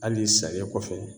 Hali sariya kɔfɛ